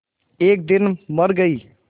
एक दिन मर गई